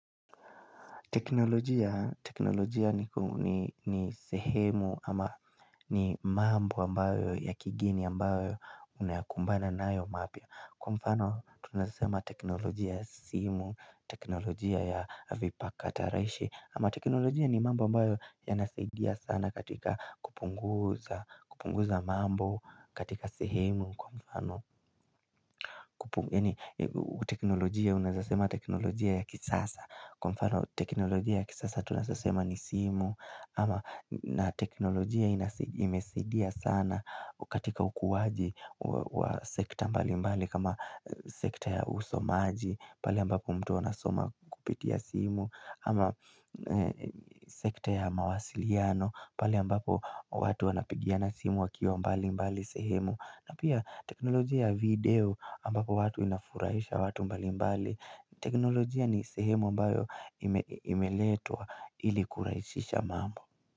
Teknolojia ni sehemu ama ni mambo ambayo ya kigeni ambayo unayakumbana nayo mapya. Kwa mfano tunasema teknolojia ya simu, teknolojia ya vipakatalishii ama teknolojia ni mambo ambayo yanasidia sana katika kupunguza, kupunguza mambo katika sehemu. Kwa mfano teknolojia unazasema teknolojia ya kisasa Kwa mfano teknolojia ya kisasa tunaezasema ni simu ama na teknolojia imesidia sana katika ukuwaji wa sekta mbalimbali kama sekta ya usomaji pale ambapo mtu anasoma kupitia simu ama sekta ya mawasiliano pale ambapo watu wanapigiana simu wakiwa mbalimbali sehemu na pia teknolojia ya video ambapo watu inafuraisha watu mbalimbali. Teknolojia ni sehemu mbayo imeletwa ili kuraisisha mambo.